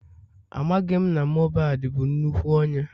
Amaghị m na Mohbad bụ nnukwu onye